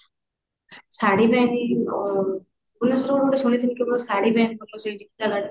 ଶାଢ଼ୀ ପାଇଁ ଆଁ ଭୁବନେଶ୍ବରରୁ kaନ ଗୋଟେ ଶୁଣିଥିଲି କେବଳ ଶାଢ଼ୀ ପାଇଁ ଭଲ ସେଇଟା